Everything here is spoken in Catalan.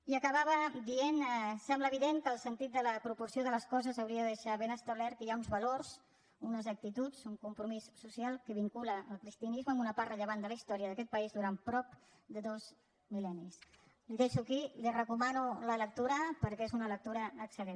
i acabava dient sembla evident que el sentit de la proporció de les coses hauria de deixar ben establert que hi ha uns valors unes actituds un compromís social que vincula el cristianisme amb una part rellevant de la historia d’aquest país durant prop de dos mil·xo aquí i li’n recomano la lectura perquè és una lectura excel·lent